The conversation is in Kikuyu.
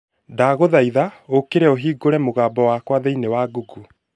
ndaguthaitha ukĩre ũhingũre mũgambo wakwa thĩinĩ wa Google